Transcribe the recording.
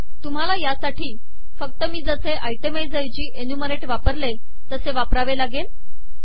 तुम्हाला यासाठी फक्त मी जसे आयटेमाइझ ऐवजी एन्युमरेट वापरले तसे वापरावे लागेल